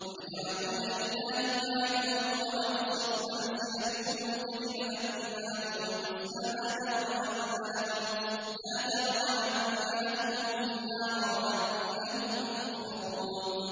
وَيَجْعَلُونَ لِلَّهِ مَا يَكْرَهُونَ وَتَصِفُ أَلْسِنَتُهُمُ الْكَذِبَ أَنَّ لَهُمُ الْحُسْنَىٰ ۖ لَا جَرَمَ أَنَّ لَهُمُ النَّارَ وَأَنَّهُم مُّفْرَطُونَ